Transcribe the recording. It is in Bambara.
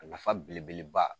A nafa belebeleba